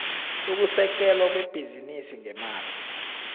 ukusekelwa kwebhizinisi ngemali